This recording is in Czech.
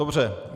Dobře.